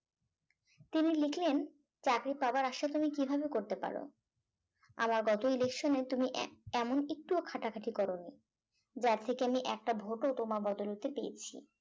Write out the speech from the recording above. তিনি লিখলেন চাকরি পাওয়ার আশা তুমি কিভাবে করতে পার আমার গত election এ তুমি আহ এমন একটুও খাটাখাটি করো নি যার থেকে আমি একটা vote ও তোমার বদৌলতে পেয়েছি